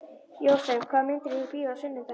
Jósep, hvaða myndir eru í bíó á sunnudaginn?